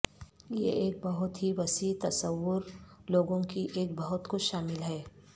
یہ ایک بہت ہی وسیع تصور لوگوں کی ایک بہت کچھ شامل ہے